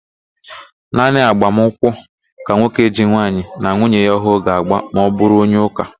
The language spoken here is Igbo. Naanị agbamụnkwụ ka nwoke ji nwaanyị na nwuye ya ọhụụ ga-ágbà ma ọbụrụ onye ụ́kà.